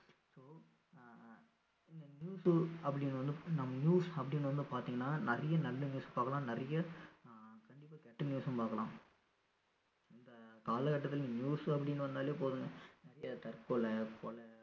news அப்படின்னு வந்து நம்ம news அப்படின்னு வந்து பாத்தீங்கன்னா நிறைய நல்ல news பாக்கலாம் நிறைய ஆஹ் கண்டிப்பா கெட்ட news சும் பாக்கலாம் இந்த காலகட்டத்துல news அப்படின்னு வந்தாலே போதுங்க நிறைய தற்கொலை கொலை